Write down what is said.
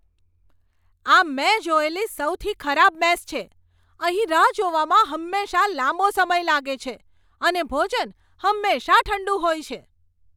આ મેં જોયેલી સૌથી ખરાબ મેસ છે. અહીં રાહ જોવામાં હંમેશાં લાંબો સમય લાગે છે અને ભોજન હંમેશા ઠંડુ હોય છે.